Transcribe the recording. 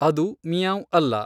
ಅದು 'ಮಿಯಾಂವ್' ಅಲ್ಲ.